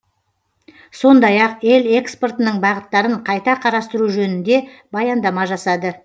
сондай ақ ел экспортының бағыттарын қайта қарастыру жөнінде баяндама жасады